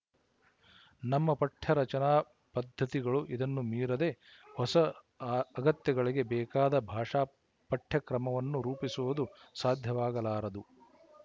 ನಮ್ಮ ಪಠ್ಯರಚನಾ ಪದ್ದತಿಗಳು ಇದನ್ನು ಮೀರದೆ ಹೊಸ ಆ ಅಗತ್ಯಗಳಿಗೆ ಬೇಕಾದ ಭಾಷಾ ಪಠ್ಯಕ್ರಮವನ್ನು ರೂಪಿಸುವುದು ಸಾಧ್ಯವಾಗಲಾರದು